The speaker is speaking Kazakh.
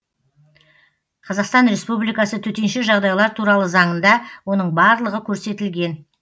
қазақстан республикасы төтенше жағдайлар туралы заңында оның барлығы көрсетілген